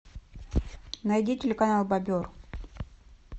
найди телеканал бобер